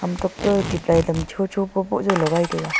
tokto e tube light am chocho bohboh jaw lagai taiga.